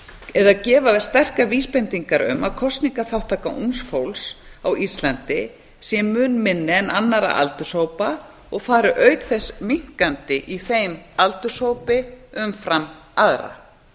eða gefa sterkar vísbendingar um að kosningaþátttaka ungs fólks á íslandi sé mun minni en annarra aldurshópa og fari auk þess minnkandi í þeim aldurshópi umfram aðra